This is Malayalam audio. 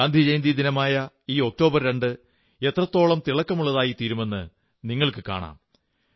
ഗാന്ധിജയന്തിദിനമായ ഈ ഒക്ടോബർ 2 എത്രത്തോളം തിളക്കമുള്ളതായിരിക്കുമെന്ന് നിങ്ങൾക്കു കാണാം